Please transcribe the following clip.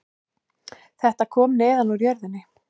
Þetta kom neðan úr jörðinni